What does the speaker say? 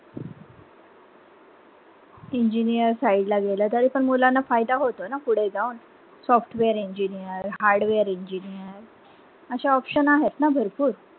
engineer side ला गेला तरी पण मुलांना फायदा होतो ना फुडें जाऊन software engineer hardware engineer अशा option आहेत ना भरपूर.